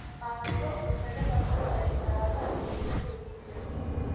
Qaado masagada boorash saada wey damee wilyahow